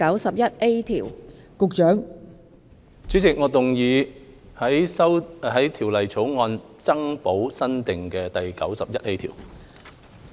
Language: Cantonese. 代理主席，我動議在條例草案增補新訂的第 91A 條。